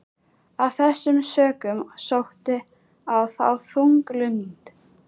Af þessum sökum sótti á þá þung lund.